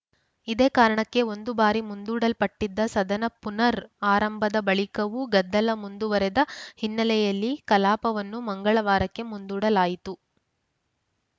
ಇದೇ ಕಾರಣಕ್ಕೆ ಒಂದು ಬಾರಿ ಮುಂದೂಡಲ್ಪಟ್ಟಿದ್ದ ಸದನ ಪುನರ್‌ ಆರಂಭದ ಬಳಿಕವೂ ಗದ್ದಲ ಮುಂದುವರೆದ ಹಿನ್ನೆಲೆಯಲ್ಲಿ ಕಲಾಪವನ್ನು ಮಂಗಳವಾರಕ್ಕೆ ಮುಂದೂಡಲಾಯಿತು